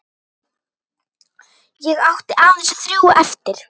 Ég átti aðeins þrjú eftir.